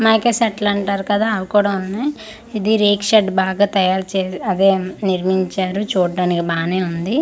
మైకే సెట్లు అంటారు కదా అవి కూడా ఉన్నాయ్ ఇది రేక్ షెడ్ బాగా తయారు చే అదే నిర్మించారు చూడానికి బానే ఉంది అల--